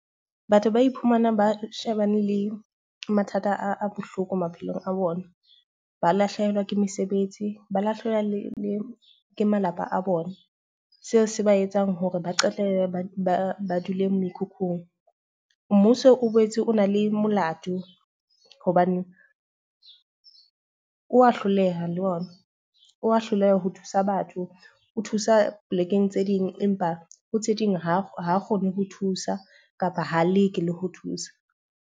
Batho ba iphumanang ba shebane le mathata a bohloko maphelong a bona. Ba lahlehelwa ke mesebetsi, ba lahlela le ke malapa a bona. Seo se ba etsa hore ba qetelle ba ba dulang mekhukhung. Mmuso o boetse o na le molato hobane o hloleha le ona, o wa hloleha ho thusa batho o thusa polekeng tse ding. Empa ho tse ding ha ba kgone ho thusa kapa ho leke le ho thusa.